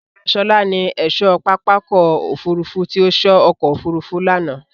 Bábà Ṣọlá ni ẹ̀ṣọ́ pápákọ̀ òfurufú tí ó sọ ọkọ̀ òfurufú lánàá.